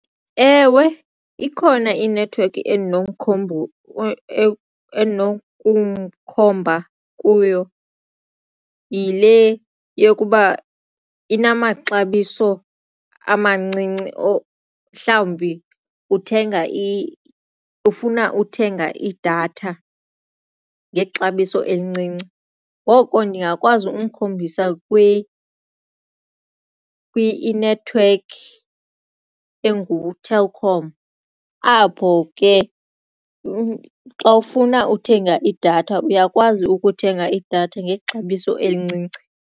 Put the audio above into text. Ewe, ikhona inethiwekhi endinokumkhomba kuyo yile yokuba inamaxabiso amancinci mhlawumbi ufuna uthenga idatha ngexabiso elincinci ngoko ndingakwazi ukumkhombisa inethiwekhi enguTelkom apho ke xa ufuna uthenga idatha uyakwazi ukuthenga idatha ngexabiso elincinci.